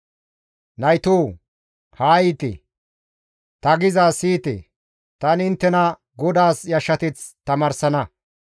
Naytoo! Haa yiite; ta gizaaz siyite; tani inttena GODAAS yashshateth tamaarsana.